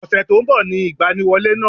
Ọ̀sẹ̀ tó nbọ̀ ni ìgbaniwọlé náà